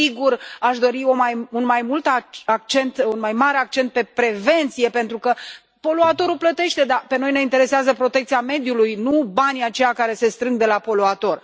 Sigur, aș dori un mai mare accent pe prevenție, pentru că poluatorul plătește, dar pe noi ne interesează protecția mediului, nu banii aceia care se strâng de la poluator.